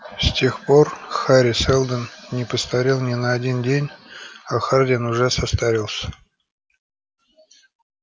с тех пор хари сэлдон не постарел ни на один день а хардин уже состарился